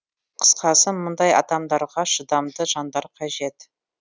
қысқасы мұндай адамдарға шыдамды жандар қажет